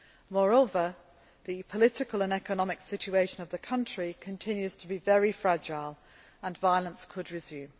Moreover, the political and economic situation of the country continues to be very fragile and violence could resume.